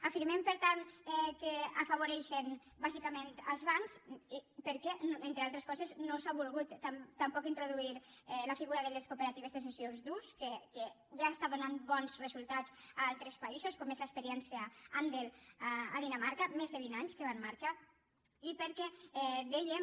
afirmem per tant que afavoreixen bàsicament els bancs perquè entre altres coses no s’hi ha volgut tampoc introduir la figura de les cooperatives de cessió d’ús que ja estan donant bons resultats a altres països com és l’experiència andel a dinamarca més de vint anys que està en marxa i perquè dèiem